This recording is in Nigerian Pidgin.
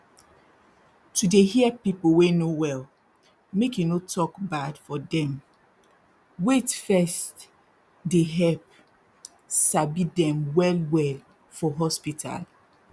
to dey hear pipu wey no well make you no tok bad for dem wait first dey help sabi dem well well for hospital